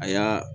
A y'a